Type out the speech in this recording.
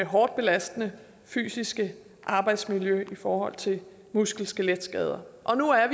hårdt belastende fysiske arbejdsmiljø i forhold til muskel skeletskader og nu er